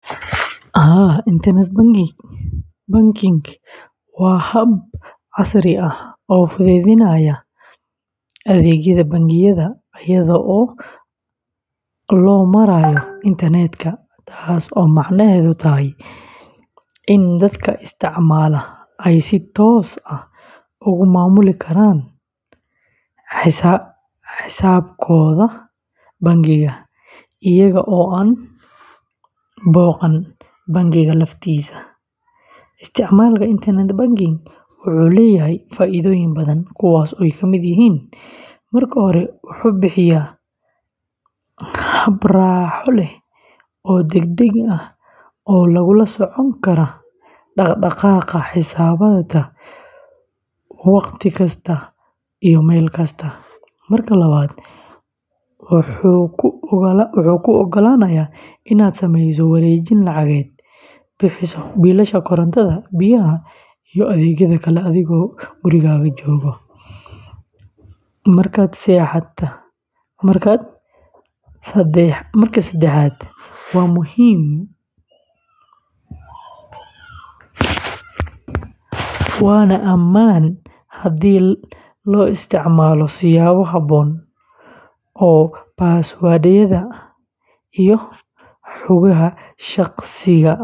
Haa, internet banking waa hab casri ah oo fududeynaya adeegyada bangiyada iyadoo loo marayo internet-ka, taas oo macnaheedu yahay in dadka isticmaala ay si toos ah uga maamuli karaan xisaabaadkooda bangiga iyaga oo aan booqan bangiga laftiisa. Isticmaalka internet banking wuxuu leeyahay faa’iidooyin badan, kuwaas oo ka mid ah: marka hore, wuxuu bixiyaa hab raaxo leh oo degdeg ah oo lagula socon karo dhaqdhaqaaqa xisaabtaada wakhti kasta iyo meel kasta; marka labaad, wuxuu kuu ogolaanayaa inaad samayso wareejin lacageed, bixiso biilasha korontada, biyaha, iyo adeegyada kale adigoo gurigaaga jooga; marka saddexaad, waa ammaan haddii la isticmaalo siyaabo habboon oo password-yada iyo xogaha shakhsiga ah si qarsoodi ah loo ilaaliyo.